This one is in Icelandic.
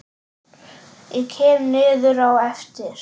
Ég kem niður á eftir.